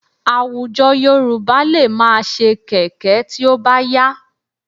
Àwùjọ Yorùbá lè máa ṣe kẹ̀kẹ́ tí ó bá yá